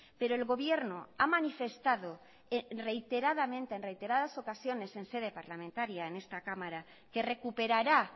pero el gobierno ha manifestado reiteradamente en reiteradas ocasiones en sede parlamentaria en esta cámara que recuperará